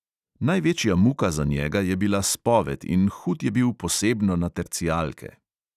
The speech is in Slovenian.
Največja muka za njega je bila spoved in hud je bil posebno na tercijalke.